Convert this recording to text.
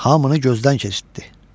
Hamını gözdən keçirtdi.